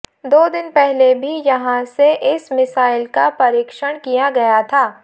दो दिन पहले भी यहां से इस मिसाइल का परीक्षण किया गया था